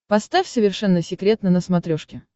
поставь совершенно секретно на смотрешке